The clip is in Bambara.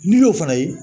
N'i y'o fana ye